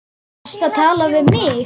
Varstu að tala við mig?